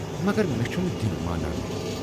مگر مے چھُنہٕ دِل مانان۔